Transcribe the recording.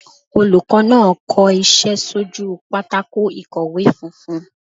Olùkó náà ko isé sí ojú pátákó ìkọ̀wé funfun